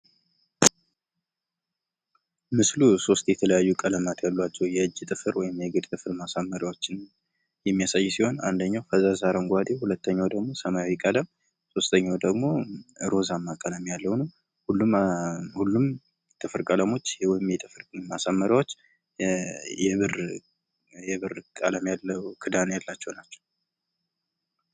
ምስሉ ሶስት የተለያዩ ቀለማት ያሏቸው የእጅ ጥፍር ወይም ደግሞ የእግር ጥፍር ማሳመሪያ ። የሚያሳይ ሲሆን አንደኛው አረንጓዴ፣ ሁለተኛው ሰማያዊ ቀለም ፣ ሶስተኛው ደግሞ ሮዛማ ቀለም ያለው ነው። ሁሉም ጥፍር ቀለሞች ወይም ጥፍር ማሳመሪያወች የብር ቀለም ያለው ክዳን ያላቸው ናቸው።